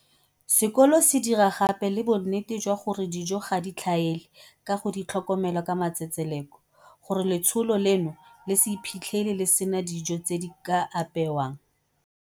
Sekolo se dira gape le bonnete jwa gore dijo ga di tlhaele ka go di tlhokomela ka matsetseleko, gore letsholo leno le se iphitlhele le sena dijo tse di ka apeewang.